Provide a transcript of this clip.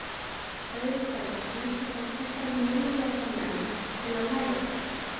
Öðruhverju heimsótti hann þekkta meinlætamenn til að læra af þeim.